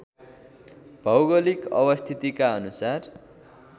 भौगोलिक अवस्थितिका अनुसार